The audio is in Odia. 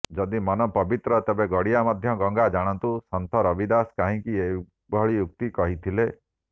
ଯଦି ମନ ପବିତ୍ର ତେବେ ଗାଡ଼ିଆ ମଧ୍ୟ ଗଙ୍ଗା ଜାଣନ୍ତୁ ସନ୍ଥ ରବିଦାସ କାହିଁକି ଏଭଳି ଉକ୍ତି କହିଥିଲେ